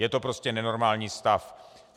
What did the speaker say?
Je to prostě nenormální stav.